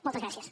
moltes gràcies